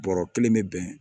Bɔrɔ kelen bɛ bɛn